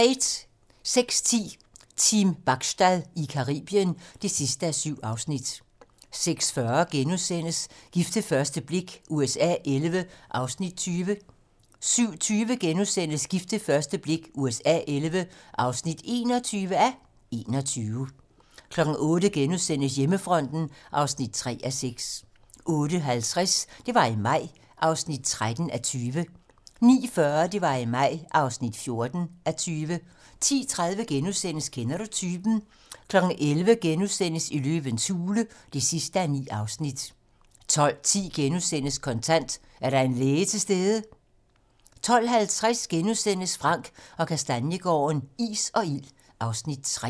06:10: Team Bachstad i Caribien (7:7) 06:40: Gift ved første blik USA XI (20:21)* 07:20: Gift ved første blik USA XI (21:21)* 08:00: Hjemmefronten (3:6)* 08:50: Det var i maj (13:20) 09:40: Det var i maj (14:20) 10:30: Kender du typen? * 11:00: Løvens hule (9:9)* 12:10: Kontant: Er der en læge til stede? * 12:50: Frank & Kastaniegaarden - is og ild (Afs. 2)*